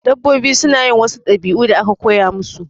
Dabbobi suna yin wasu ɗabi'u da aka koya musu